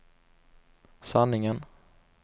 sanningen